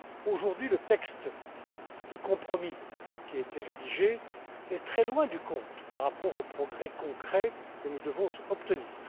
Aujourd'hui, le texte de compromis qui a été rédigé est très loin du compte par rapport aux progrès concrets que nous devons obtenir.